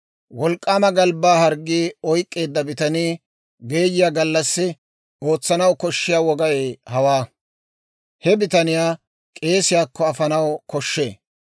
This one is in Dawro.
«Wolk'k'aama galbbaa harggii oyk'k'eedda bitanii geeyiyaa gallassi ootsanaw koshshiyaa wogay hawaa. He bitaniyaa k'eesiyaakko afanaw koshshee.